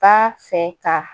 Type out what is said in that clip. Ba fɛ ka